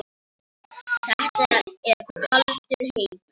Þetta er kaldur heimur.